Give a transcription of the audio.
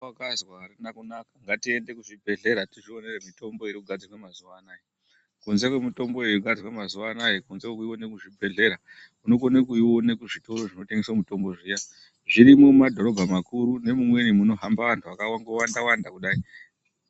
Izwa wakazwa arina kunaka, ngatiende kuzvibhedhlera, tizvionere mitombo irikugadzirwa mazuva anaya. Kunze kwemitombo yogadzirwe mazuva anaya, kunze kwekuiona muzvibhedhlera, unokone kuiona kuzvitoro zvinotengese mitombo zviyani zvirimumadhorobha makuru nemumweni murikundohamba vantu vakangowanda-wanda kudai.